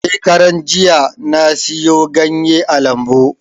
Shekaran jiya na siyo ganye a lambu